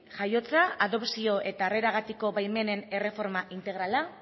jaiotza adopzio eta harreragatiko baimenen erreforma integrala